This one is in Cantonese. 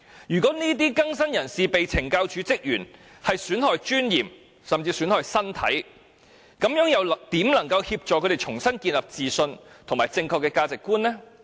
如果這些更新人士被懲教署職員損害尊嚴，甚至損害身體，又怎能協助他們重新建立自信和正確的價值觀？